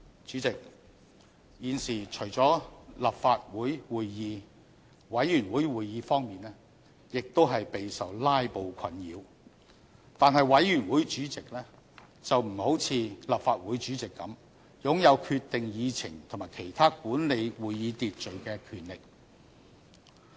主席，現時除了立法會會議，委員會會議方面亦備受"拉布"困擾，但是委員會主席並不像立法會主席般擁有決定議程及其他管理會議秩序的權力。